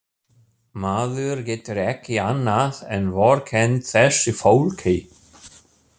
Maður getur ekki annað en vorkennt þessu fólki.